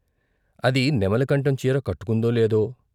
అది నెమలికంఠం చీర కట్టుకుందో లేదో?